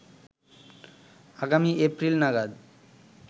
আগামী এপ্রিল নাগাদ